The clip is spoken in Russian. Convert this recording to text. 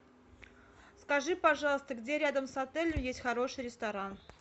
скажи пожалуйста где рядом с отелем есть хороший ресторан